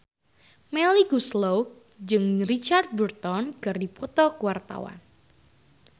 Melly Goeslaw jeung Richard Burton keur dipoto ku wartawan